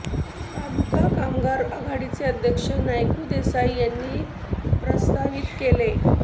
तालुका कामगार आघाडीचे अध्यक्ष नायकू देसाई यांनी प्रास्ताविक केले